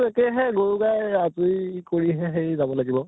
একে সেইহে গৰু গাই আজৰি কৰিহে হেৰি যাব লাগিব